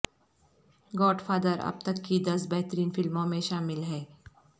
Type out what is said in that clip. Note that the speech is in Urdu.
گاڈ فادر اب تک کی دس بہترین فلموں میں شامل ہے